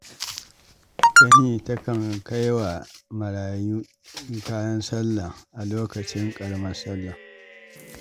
Tani takan kai wa marayu kayan sallah a lokacin ƙaramar sallah.